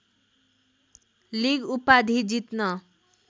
league उपाधि जित्न